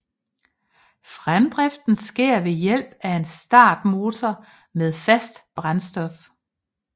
Fremdriften sker ved hjælp af en startmotor med fast brændstof